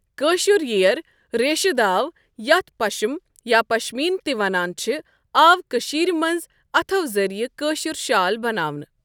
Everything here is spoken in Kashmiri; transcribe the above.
کٲشُر یِیَأر ریشہ داو، یَتھ پشم یا پشمیٖن تہِ ونان چھِ، آو کٕشیٖرِ مٕنٛز اَتھو ذریعہ کٲشر شال بناونہٕ.